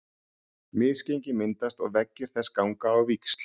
Misgengi myndast og veggir þess ganga á víxl.